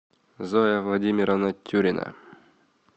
зоя владимировна тюрина